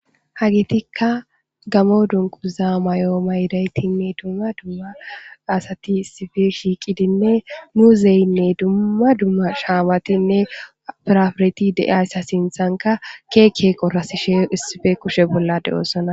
Hagetika gamo dunquza mayoo ma yidaytinne dumma dumma asati issifi shiiqidinne muuzeyinne dumma dumma shaamatinne pirafereti de7aysa sinthanka keekeeqo rasishe issife kushe bolla de7osona